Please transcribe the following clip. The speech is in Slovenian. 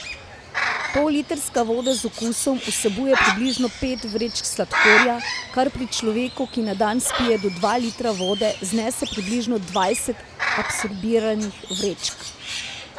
Pollitrska voda z okusom vsebuje približno pet vrečk sladkorja, kar pri človeku, ki na dan spije do dva litra vode, znese približno dvajset absorbiranih vrečk.